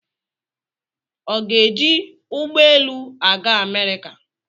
Ọ ga-eji ụgbọelu aga Amerịka?